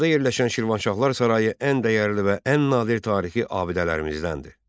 Bakıda yerləşən Şirvanşahlar sarayı ən dəyərli və ən nadir tarixi abidələrimizdəndir.